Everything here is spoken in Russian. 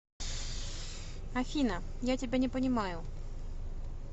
афина я тебя не понимаю